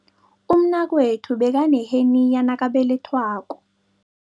Umnakwethu bekaneheniya nakabelethwako.